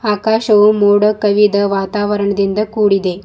ಆಕಾಶವು ಮೋಡ ಕವಿದ ವಾತಾವರಣದಿಂದ ಕೂಡಿದೆ.